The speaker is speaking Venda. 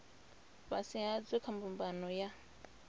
fhasi hadzo kha mbumbano ya